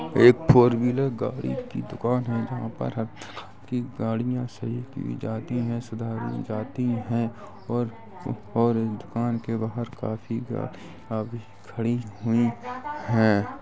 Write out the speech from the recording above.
एक four wheeler गाड़ी की दुकान है जहाँ पर हर तरह की गाड़ियां सही की जाती है सुधारी जाती है और और दुकान के बाहर काफ़ी गाड़ियां भी खड़ी हुई है।